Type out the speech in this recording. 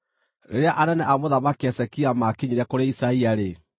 Rĩrĩa anene a Mũthamaki Hezekia maakinyire kũrĩ Isaia-rĩ,